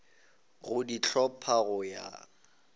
go di hlopha go ya